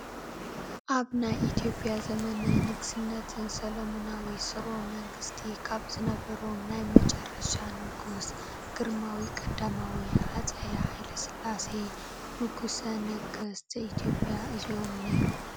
ኣብ ናይ ኢ/ያ ዘመነ ንግስነትን ሰሎሙናዊ ስርወ መንግስቲ ካብ ዝነበሮም ናይ መጨረሻ ንጉስ ግርማዊ ቀዳማዊ ሃፀይ ሃ/ስላሴ ንጉሰ ነገስት ዘ-ኢትዮጵያ እዚኦም ኔይሮም፡፡